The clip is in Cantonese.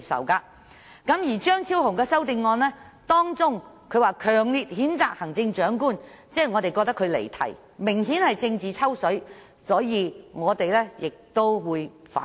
張超雄議員在他的修正案中強烈譴責行政長官，我們覺得他離題，明顯是政治"抽水"，所以我們亦會反對。